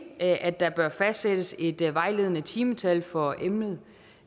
at at der bør fastsættes et vejledende timetal for emnet